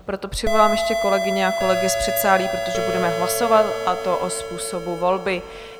Proto přivolám ještě kolegyně a kolegy z předsálí, protože budeme hlasovat, a to o způsobu volby.